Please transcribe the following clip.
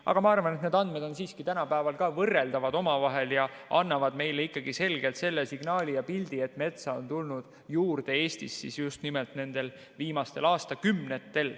Aga ma arvan, et need andmed on siiski tänapäeval ka omavahel võrreldavad ja annavad meile ikkagi selgelt selle signaali ja pildi, et metsa on Eestis tulnud juurde just nimelt nendel viimastel aastakümnetel.